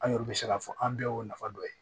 An y'o bɛ se k'a fɔ an bɛɛ y'o nafa dɔ ye